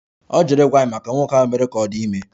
Ọ jụrụ ịgwa anyị banyere nwoke ahụ mere ka ọ dị ime